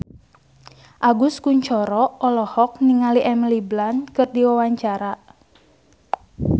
Agus Kuncoro olohok ningali Emily Blunt keur diwawancara